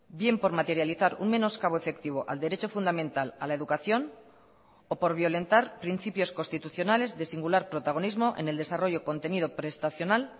bien por materializar un menoscabo efectivo al derecho fundamental a la educación o por violentar principios constitucionales de singular protagonismo en el desarrollo contenido prestacional